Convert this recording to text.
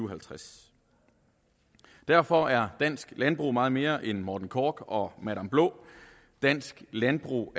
og halvtreds derfor er dansk landbrug meget mere end morten korch og madam blå dansk landbrug